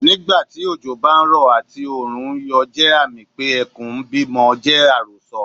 Nígbà tí òjò bá ń rọ̀ àti Òòrùn ń yọ jẹ́ àmì pé Ẹkùn ń bí ọmọ jẹ́ àròsọ.